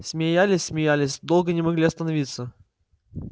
смеялись смеялись долго не могли остановиться